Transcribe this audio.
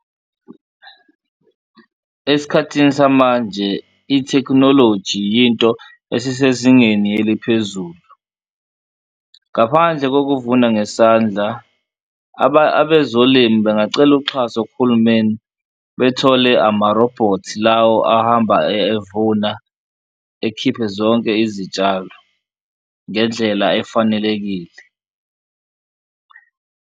Esikhathini samanje ithekhunoloji yinto esisezingeni eliphezulu, ngaphandle kokuvuna ngesandla abezolimi bengacela uxhaso kuhulumeni bethole amarobhothi lawo ahamba evuna ekhiphe zonke izitshalo ngendlela efanelekile.